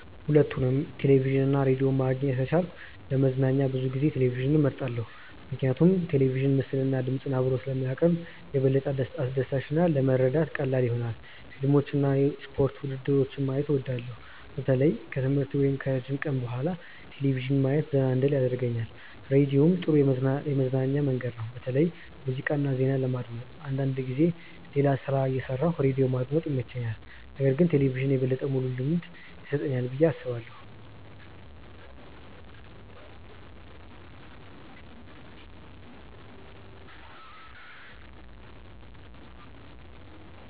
ሁለቱንም ቴሌቪዥን እና ራዲዮ ማግኘት ከቻልኩ ለመዝናኛ ብዙ ጊዜ ቴሌቪዥንን እመርጣለሁ። ምክንያቱም ቴሌቪዥን ምስልና ድምፅ አብሮ ስለሚያቀርብ የበለጠ አስደሳች እና ለመረዳት ቀላል ይሆናል። ፊልሞችን እና የስፖርት ውድድሮችን ማየት እወዳለሁ። በተለይ ከትምህርት ወይም ከረጅም ቀን በኋላ ቴሌቪዥን ማየት ዘና እንድል ያደርገኛል። ራዲዮም ጥሩ የመዝናኛ መንገድ ነው፣ በተለይ ሙዚቃ እና ዜና ለማዳመጥ። አንዳንድ ጊዜ ሌላ ሥራ እየሠራሁ ራዲዮ ማዳመጥ ይመቸኛል። ነገር ግን ቴሌቪዥን የበለጠ ሙሉ ልምድ ይሰጠኛል ብዬ አስባለሁ።